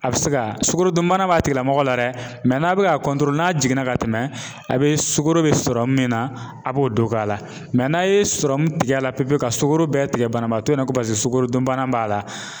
A bɛ se ka sukaro dunbana b'a tigilamɔgɔ la dɛ n'a bi ka n'a jiginna ka tɛmɛ a be sukoro be sɔrɔ min na, a b'o don k'a la n'a ye tigɛ la pewu pewu ka sugɔro bɛɛ tigɛ banabaatɔ in na, ko paseke sukorodunbana b'a la